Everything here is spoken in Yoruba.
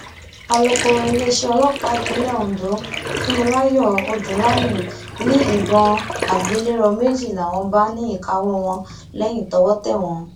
alūkọrọ iléeṣẹ ọlọpàá ìpínlẹ ondo funmilayo odúnlami ni ìbọn àgbélẹrọ méjì làwọn bá ní ìkáwọ wọn lẹyìn tọwọ tẹ wọn